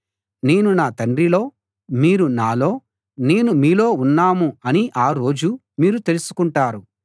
నేను నా తండ్రిలో మీరు నాలో నేను మీలో ఉన్నాం అని ఆ రోజు మీరు తెలుసుకుంటారు